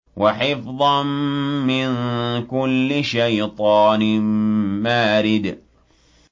وَحِفْظًا مِّن كُلِّ شَيْطَانٍ مَّارِدٍ